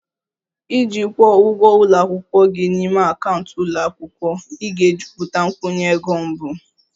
Iji kwụọ ụgwọ ụlọ akwụkwọ gị n'ime akaụntụ ụlọ akwụkwọ, ị ga-ejupụta nkwụnye ego mbụ